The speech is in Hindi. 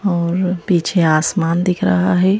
और पीछे आसमान दिख रहा है।